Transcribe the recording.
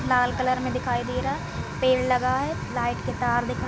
लाल colour में दिखाई दे रहा पेड़ लगा है लाइट के तार दिखाई --